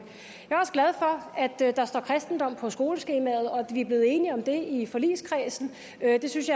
jeg er der står kristendom på skoleskemaet og at vi er blevet enige om det i forligskredsen jeg synes